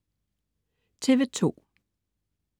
TV2: